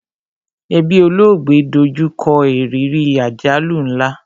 Ẹbí olóògbé do jú kọ ìrírí àjálù nla